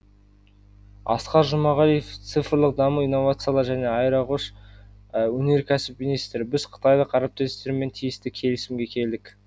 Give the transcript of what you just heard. асқар жұмағалиев цифрлық даму инновациялар және аэроғош өнеркәсіп министрі біз қытайлық әріптестермен тиісті келісімге келдік